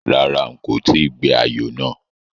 Rárá, n kò tíì gbé ayò náà